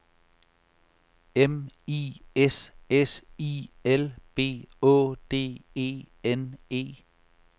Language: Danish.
M I S S I L B Å D E N E